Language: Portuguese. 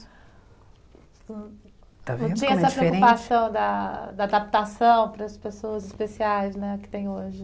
Está vendo como era diferente? Não tinha essa preocupação da da adaptação para as pessoas especiais né que tem hoje.